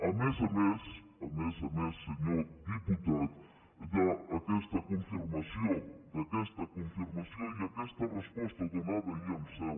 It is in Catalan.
a més a més a més a més senyor diputat d’aquesta confirmació i aquesta resposta donada ahir en seu